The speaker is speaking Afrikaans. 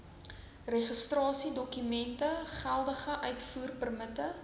registrasiedokumente geldige uitvoerpermitte